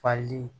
Fali